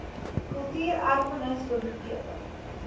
kultuur erfenis biblioteke